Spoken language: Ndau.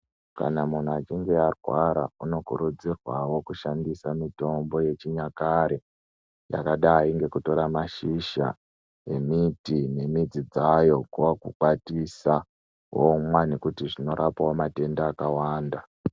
Kana muntu achinge arwara unokurudzirwawo kushandisa mitombo yechinyakare yakadai ngekutora mashizha emiti nemidzi dzayo kwakukwatisa womwa nekuti zvinorapawo matenda akawanda.